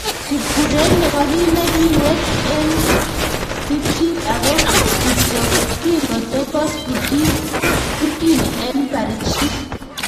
Kipkureek nebo kit ne kiwet en pikchit ago ko kityo king'otopos Burkini en barichik.